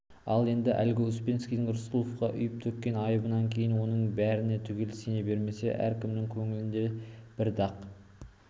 ал енді әлгі успенскийдің рысқұловқа үйіп-төккен айыбынан кейін оның бәріне түгел сене бермесе де әркімнің көңілінде бір дақ